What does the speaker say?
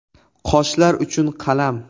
Qoshlar uchun qalam .